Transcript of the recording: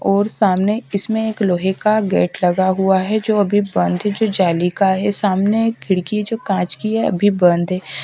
और सामने इसमें एक लोहे का गेट लगा हुआ है जो अभी बंद है जो जाली का है सामने एक खिड़की जो कांच की है अभी बंद है।